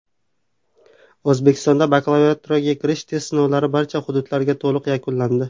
O‘zbekistonda bakalavriatga kirish test sinovlari barcha hududlarda to‘liq yakunlandi.